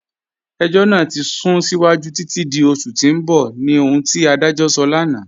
Ẹ̀jọ́ naa ti sún síwájú títi di oṣù tì n bọ̀ ni ohun ti adajọ́ sọ̀ lánà.